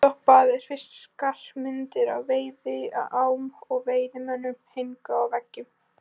Uppstoppaðir fiskar, myndir af veiðiám og veiðimönnum héngu á veggjunum.